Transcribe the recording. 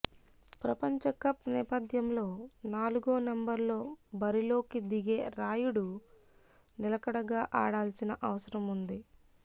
ప్రపంచకప్ నేపథ్యంలో నాలుగో నంబర్లో బరిలోకి దిగే రాయుడు నిలకడగా ఆడాల్సిన అవసరం ఉంది